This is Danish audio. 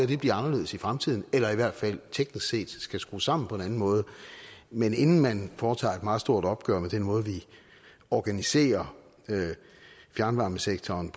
det bliver anderledes i fremtiden eller i hvert fald teknisk set skal skrues sammen på en anden måde men inden man foretager et meget stort opgør med den måde vi organiserer fjernvarmesektoren